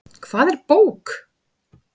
Hvað er bók?